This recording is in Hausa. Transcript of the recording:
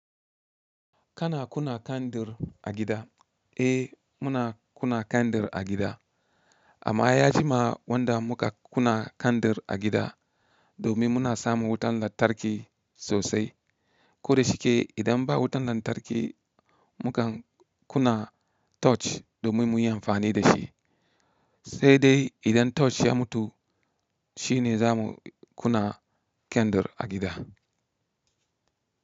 Kana kuna kandir a gida? Eh, muna kuna kandir a gida. Amma ya jima wanda muka kuna kandir a gida domin muna samu wutan lantarki sosai. Ko da shike idan ba wutan lantarki mukan kuna torch domin muyi amfani dashi. Sai dai idan torch ya mutu shine zamu kuna kandir a gida.